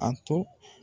A to